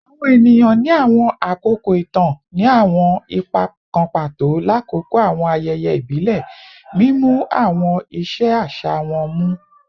Awọn eniyan ni awọn akoko itan ni awọn ipa kan pato lakoko awọn ayẹyẹ ibile, mimu awọn iṣe aṣa wọn mu